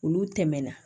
Olu tɛmɛna